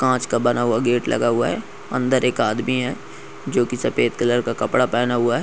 कांच का बना हुआ गेट लगा हुआ है अंदर एक आदमी है जो की सफेद कलर का कपड़ा पहना हुआ है।